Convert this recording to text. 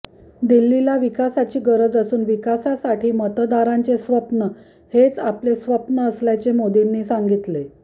दिल्लीला विकासाची गरज असून विकासासाठी मतदारांचे स्वप्न हेच आपले स्वप्न असल्याचे मोदींनी सांगितले